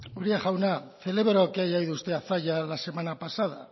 uria jauna celebro que haya ido usted a zalla la semana pasada